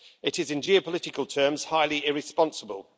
It is in geopolitical terms highly irresponsible.